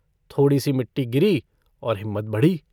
थोड़ीसी मिट्टी गिरी और हिम्मत बढ़ी।